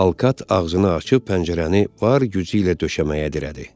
Alkat ağzını açıb pəncərəni var gücü ilə döşəməyə dirədi.